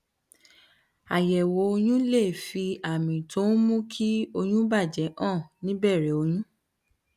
àyẹwò oyún lè fi àmì tó ń mú kí oyún bà jé hàn ní ìbèrè oyún